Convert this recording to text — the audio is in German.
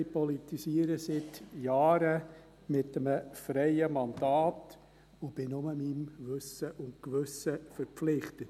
Ich politisiere seit Jahren mit einem freien Mandat und bin nur meinem Wissen und Gewissen verpflichtet.